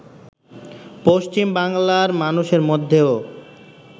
পশ্চিম বাংলার মানুষের মধ্যেও